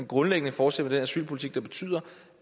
grundlæggende fortsætte med den asylpolitik der betyder